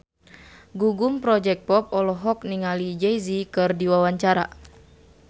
Gugum Project Pop olohok ningali Jay Z keur diwawancara